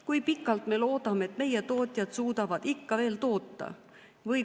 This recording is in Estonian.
Kui pikalt me loodame, et meie tootjad suudavad ikka veel toota?